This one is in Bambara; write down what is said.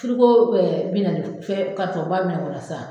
bi na ni f fɛn ba min kɔnɔ sa